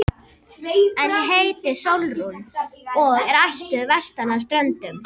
En ég heiti Sólrún og er ættuð vestan af Ströndum.